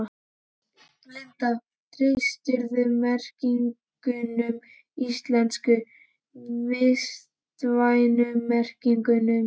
Linda: Treystirðu merkingunum íslensku, vistvænu merkingunum?